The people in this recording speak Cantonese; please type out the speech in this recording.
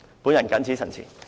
我謹此陳辭。